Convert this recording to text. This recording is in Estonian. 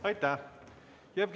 Aitäh!